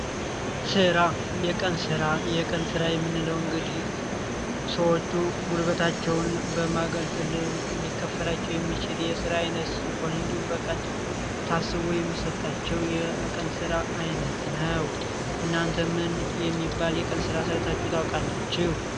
ስራ የቀን ሥራ የቀንሥራ የምንለው እንግዲህ ሰዎቹ ጉልበታቸውን በማገልገል ሊከፈላቸው የሚችድ የሥራ አይነት ሲሆን ሆን እንዲሁም በቀን ታስቦ የሚሰጣቸው የቀንሥራ ዓይነት ነው እናንተ ምን የሚባል የቀንሥራ ሰርታችሁ ታወቃላችሁ?